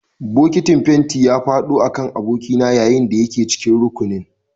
Bokitin fenti ya faɗo a kan abokina yayin da yake cikin rukunin